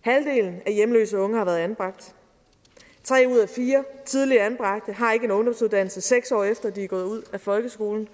halvdelen af hjemløse unge har været anbragt tre ud af fire tidligere anbragte har ikke en ungdomsuddannelse seks år efter de er gået ud af folkeskolen